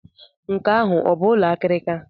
Nke ahụ ọ bụ ụlọ akịrịka?